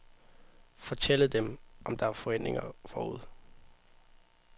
Fortælle dem, om der er forhindringer forude.